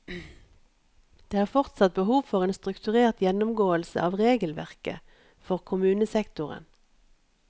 Det er fortsatt behov for en strukturert gjennomgåelse av regelverket for kommunesektoren.